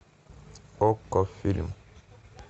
окко фильм